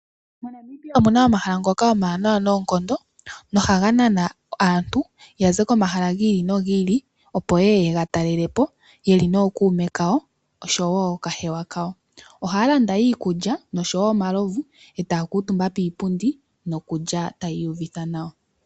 MoNamibia omuna omahala ngoka omawanawa noonkondo. Ohaga nana aantu taya zi komahala gi ili no gi ili . Opo yeye yega talelepo yeli nookuume kawo osho woo ookahewa kayo. Ohaya landa iikulya nosho woo omalovu etaya kuutumba piipundi noku lya taya iyuvitha nawa.